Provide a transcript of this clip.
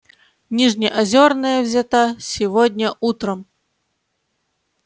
нижнеозерная взята сегодня утром